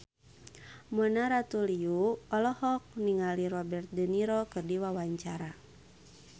Mona Ratuliu olohok ningali Robert de Niro keur diwawancara